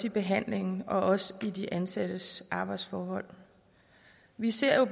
i behandlingen og også i de ansattes arbejdsforhold vi ser jo